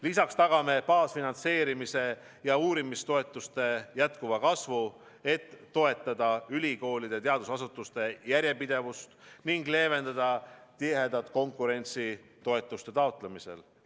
Lisaks tagame baasfinantseerimise ja uurimistoetuste jätkuva kasvu, et toetada ülikoolide ja teadusasutuste järjepidevust ning leevendada tihedat konkurentsi toetuste taotlemisel.